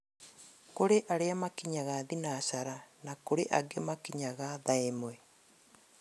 Kũrĩ arĩa makinyaga thinacara na kũri angĩ makinyaga thaa ĩmwe